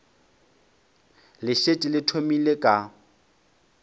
le šetše le thomile ka